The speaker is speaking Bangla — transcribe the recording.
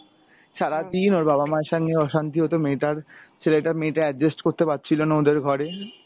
সারাদিন ওর বাবা মায়ের সঙ্গে অসান্তি হতো মেয়েটার, ছেলেটা মেয়েটা adjust করতে পারছিলো না ওদের ঘরে।